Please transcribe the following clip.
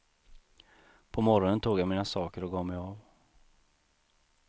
På morgonen tog jag mina saker och gav mig av.